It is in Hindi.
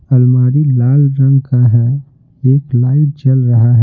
अलमारी लाल रंग का है एक लाइट जल रहा है।